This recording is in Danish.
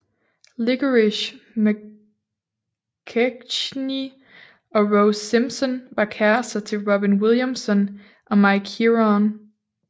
Licorice McKechnie og Rose Simpson var kærrester til Robin Williamson og Mike Heron